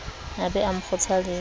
a be a mo kgothaletse